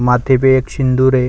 मांथे पे एक सिंदूर है।